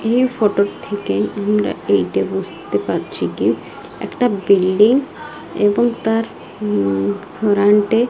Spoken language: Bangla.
এই ফটো -এর থেকে আমরা এইটা বুসতে পারছি গে একটা বিল্ডিং এবং তার উম ফরান্ট -এ--